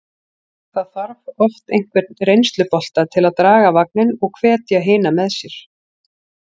Það þarf oft einhvern reynslubolta til að draga vagninn og hvetja hina með sér.